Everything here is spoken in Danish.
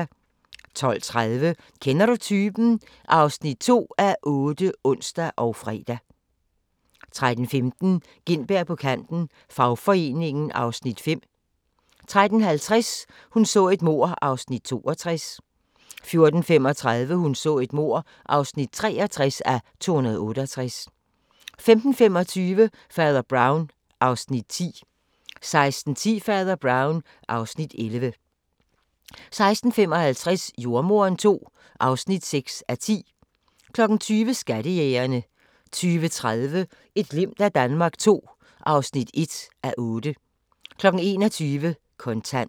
12:30: Kender du typen? (2:8)(ons og fre) 13:15: Gintberg på kanten - fagforeningen (Afs. 5) 13:50: Hun så et mord (62:268) 14:35: Hun så et mord (63:268) 15:25: Fader Brown (Afs. 10) 16:10: Fader Brown (Afs. 11) 16:55: Jordemoderen II (6:10) 20:00: Skattejægerne 20:30: Et glimt af Danmark II (1:8) 21:00: Kontant